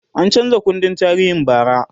an chanza kundin tarihin bara